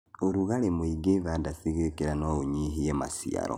ũrugarĩ mũingĩ thanda cigĩkĩra noũnyihie maciaro.